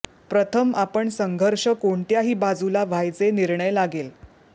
प्रथम आपण संघर्ष कोणत्याही बाजूला व्हायचे निर्णय लागेल